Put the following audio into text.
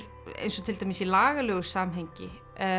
eins og til dæmis í lagalegu samhengi